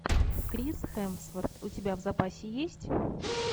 крис хемсворт у тебя в запасе есть